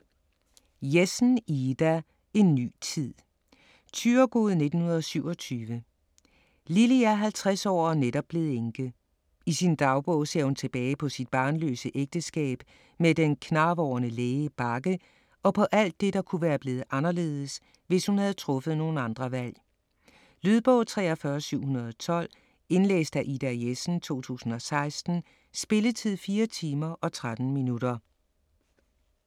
Jessen, Ida: En ny tid Thyregod, 1927. Lilly er 50 år og netop blevet enke. I sin dagbog ser hun tilbage på sit barnløse ægteskab med den knarvorne læge Bagge og på alt det, der kunne være blevet anderledes, hvis hun havde truffet nogle andre valg. Lydbog 43712 Indlæst af Ida Jessen, 2016. Spilletid: 4 timer, 13 minutter.